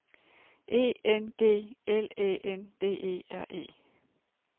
E N G L Æ N D E R E